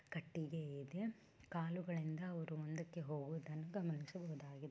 ಕಟ್ಟಿಗೆ ಇದೆ ಕಾಲುಗಳಿಂದ ಅವ್ರು ಮುಂದಕ್ಕೆ ಹೋಗೋದನ್ನ ಗಮನಿಸಬಹುದಾಗಿದೆ.